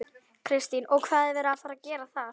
Kristín: Og hvað er verið að fara að gera þar?